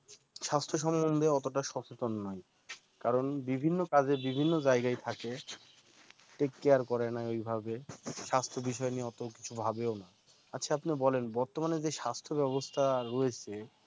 স্বাস্থ্য সম্বন্ধে অতটা সচেতন নয়, কারণ বিভিন্ন কাজে বিভিন্ন জায়গায় থাকে take care করে না ওইভাবে স্বাস্থ্য বিষয় নিয়ে অত কিছু ভাবেও না আচ্ছা আপনি বলেন বর্তমানে যে স্বাস্থ্য ব্যবস্থা রয়েছে